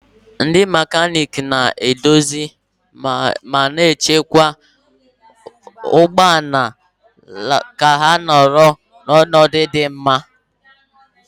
Ndị mekaniiki na-edozi ma na-echekwa ụgbọ ala ka ha nọrọ n'ọnọdụ dị mma